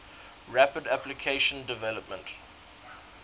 rapid application development